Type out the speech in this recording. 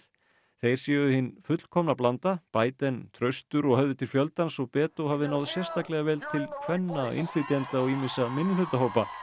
þeir séu hin fullkomna blanda Biden traustur og höfði til fjöldans og Beto hafi náð sérstaklega vel til kvenna innflytjenda og ýmissa minnihlutahópa